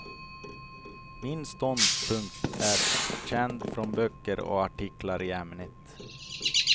Min ståndpunkt är känd från böcker och artiklar i ämnet.